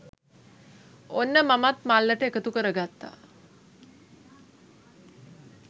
ඔන්න මමත් මල්ලට එකතු කරගත්තා